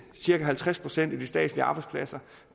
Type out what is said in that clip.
cirka halvtreds procent af de statslige arbejdspladser